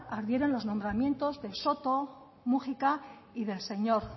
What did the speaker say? ardieron los nombramientos de soto múgica y del señor